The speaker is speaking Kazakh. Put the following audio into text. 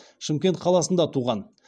шымкент қаласында туған